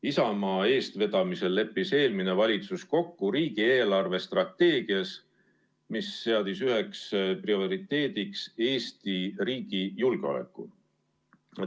Isamaa eestvedamisel leppis eelmine valitsus kokku riigi eelarvestrateegias, mis seadis üheks prioriteediks Eesti riigi julgeoleku.